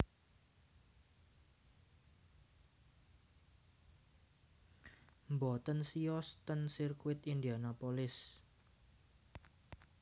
Mboten siyos ten sirkuit Indianapolis